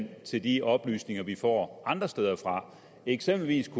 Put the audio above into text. til de oplysninger vi får andre steder fra eksempelvis